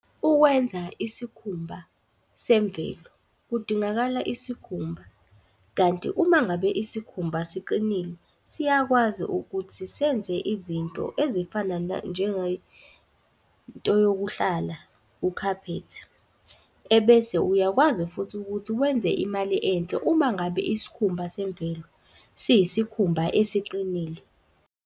Ukwenza isikhumba semvelo kudingakala isikhumba kanti uma ngabe isikhumba siqinile. Siyakwazi ukuthi senze izinto ezifana into yokuhlala, ukhaphethi. Ebese uyakwazi futhi ukuthi wenze imali enhle uma ngabe isikhumba semvelo siyisikhumba esiqinile.